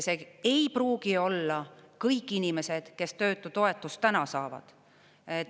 Need ei pruugi olla kõik inimesed, kes töötutoetust täna saavad.